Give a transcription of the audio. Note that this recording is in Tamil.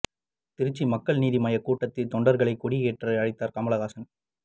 திருச்சி மக்கள் நீதி மய்ய கூட்டத்தில் தொண்டர்களை கொடி ஏற்ற அழைத்தார் கமல்ஹாசன்